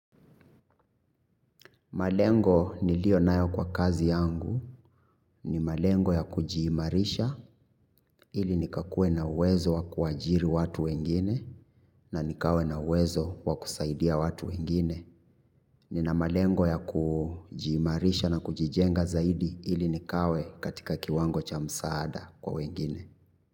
Malengo niliyo nayo kwa kazi yangu ni malengo ya kujiimarisha ili nikakuwe na uwezo wa kuajiri watu wengine na nikawe na uwezo wa kusaidia watu wengine. Nina malengo ya kujiimarisha na kujijenga zaidi ili nikawe katika kiwango cha msaada kwa wengine.